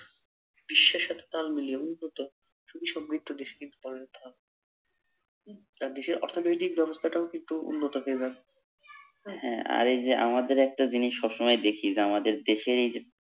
বিশ্বের সাথে তাল মিলিয়ে উন্নত সুখীসম্মৃদ্ধ দেশ কিন্তু বানাই নিতে হবে উম দেশের অর্থনৈতিক বাবস্থাটাও কিন্তু উন্নত হয়ে যাবে, হা এই যে আমাদের একটা জিনিস সবসময় দেখি যে আমাদের দেশের এই যে